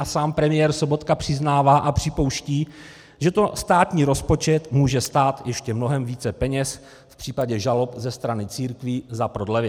A sám premiér Sobotka přiznává a připouští, že to státní rozpočet může stát ještě mnohem více peněz v případě žalob ze strany církví za prodlevy.